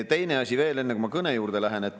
Teine asi veel, enne kui ma kõne juurde lähen.